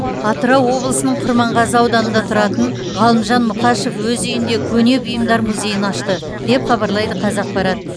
атырау облысының құрманғазы ауданында тұратын ғалымжан мұқашев өз үйінде көне бұйымдар музейін ашты деп хабарлайды қазақпарат